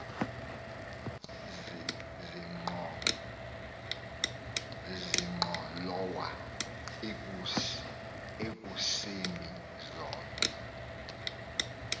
zenqholowa ekusemi zona